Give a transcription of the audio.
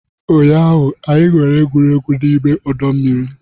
Ụnyaahụ, anyị na-egwuri egwu n'ime ọdọ mmiri